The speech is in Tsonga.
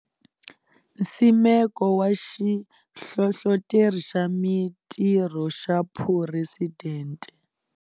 Nsimeko wa xihlohloteri xa Mitirho xa Phuresidente.